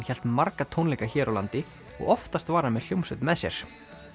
hélt marga tónleika hér á landi og oftast var hann með hljómsveit með sér